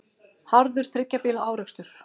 Harður þriggja bíla árekstur